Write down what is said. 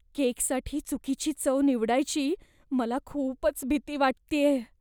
केकसाठी चुकीची चव निवडायची मला खूपच भीती वाटतेय.